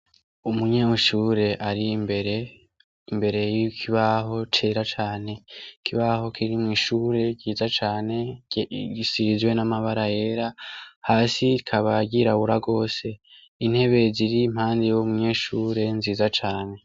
Umunyeshure ari mbere imbere y'ikibaho cera cane kibaho kirimw'ishure ryiza cane gisizwe n'amabara era hasi kabagirabura rwose intebe ziri mpandi y'wo munyeshure nziza cane.